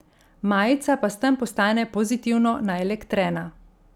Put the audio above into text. Majica pa s tem postane pozitivno naelektrena.